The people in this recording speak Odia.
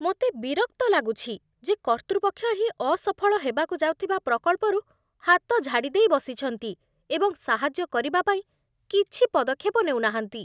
ମୋତେ ବିରକ୍ତ ଲାଗୁଛି ଯେ କର୍ତ୍ତୃପକ୍ଷ ଏହି ଅସଫଳ ହେବାକୁ ଯାଉଥିବା ପ୍ରକଳ୍ପରୁ ହାତ ଝାଡ଼ିଦେଇ ବସିଛନ୍ତି ଏବଂ ସାହାଯ୍ୟ କରିବା ପାଇଁ କିଛି ପଦକ୍ଷେପ ନେଉ ନାହାନ୍ତି।